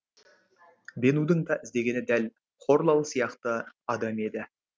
бенудың да іздегені дәл хорлал сияқты адам еді